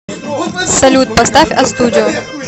салют поставь астудио